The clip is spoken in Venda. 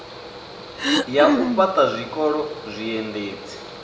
ya u fhaṱha zwikolo zwiendedzi